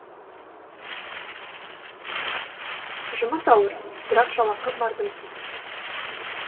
жұмыс ауыр бірақ жалақы мардымсыз